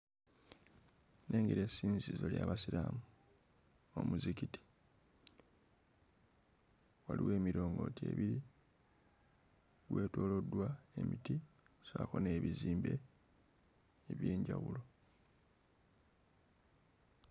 Nnengera essinzizo ly'abasiraamu omuzikiti waliwo emirongooti ebiri gwetooloddwa emiti ssaako n'ebizimbe eby'enjawulo.